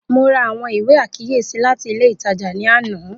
Mo ra awọn iwe akiyesi lati ile itaja ni ana